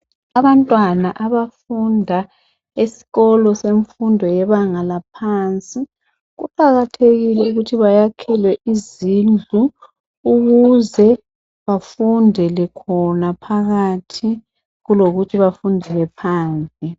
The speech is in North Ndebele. Abantwana abafunda esikolo semfundo yebanga laphansi kuqakathekile ukuthi bayakhelwe izindlu ukuze bafundele khona phakathi kulokuthi bafundele phandle